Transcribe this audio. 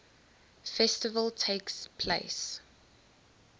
festival takes place